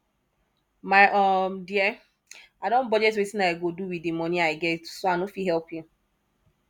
my um dear i don budget wetin i go do with di money i get so i no fit help you